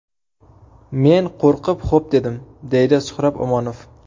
Men qo‘rqib xo‘p dedim, deydi Suhrob Omonov.